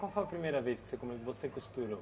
Qual foi a primeira vez que você você costurou?